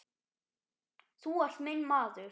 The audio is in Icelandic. Þú ert minn maður